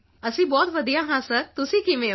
ਅਸੀਂ ਬਹੁਤ ਵਧੀਆ ਹਾਂ ਸਰ ਤੁਸੀਂ ਕਿਵੇਂ ਹੋ